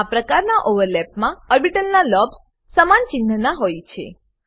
આ પ્રકારના ઓવરલેપમાં ઓર્બીટલના લોબ્સ લોબ્સ સમાન ચિન્હ ના હોય છે